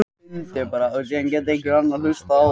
Fangelsisvist fyrir að syngja þjóðsönginn illa